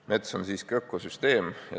Mets on siiski ökosüsteem.